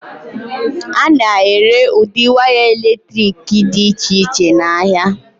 A na-ere ụdị waya eletrik dị iche iche n'ahịa.